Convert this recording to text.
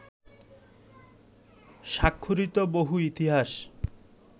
স্বাক্ষরিত বহু ইতিহাস